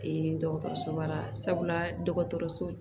dɔgɔtɔrɔsoba la sabula dɔgɔtɔrɔso